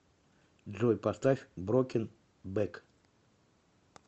джой поставь броукен бэк